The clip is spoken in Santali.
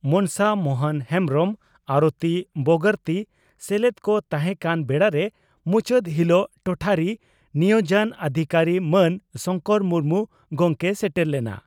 ᱢᱚᱱᱥᱟ ᱢᱚᱦᱚᱱ ᱦᱮᱢᱵᱽᱨᱚᱢ ᱟᱨᱚᱛᱤ ᱵᱚᱜᱚᱨᱛᱤ ᱥᱮᱞᱮᱫ ᱠᱚ ᱛᱟᱦᱮᱸ ᱠᱟᱱ ᱵᱮᱲᱟᱨᱮ ᱢᱩᱪᱟᱹᱫ ᱦᱤᱞᱚᱜ ᱴᱚᱴᱷᱟᱨᱤ ᱱᱤᱭᱚᱡᱚᱱ ᱚᱫᱷᱤᱠᱟᱨᱤ ᱢᱟᱱ ᱥᱚᱝᱠᱚᱨ ᱢᱩᱨᱢᱩ ᱜᱚᱢᱠᱮᱭ ᱥᱮᱴᱮᱨ ᱞᱮᱱᱟ ᱾